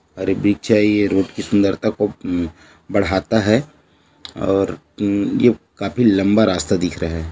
ये रोड की सुंदरता को अ- म- बढ़ाता है और म- ये काफी लम्बा रास्ता दिख रहा है।